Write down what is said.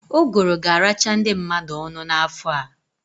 Uguru ga-aracha ndị mmadụ ọnụ n'afọ a.